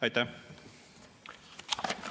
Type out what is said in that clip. Aitäh!